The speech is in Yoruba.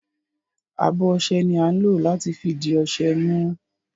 Abo ọṣẹ ni a ń lo lati fi di ọṣẹ mu.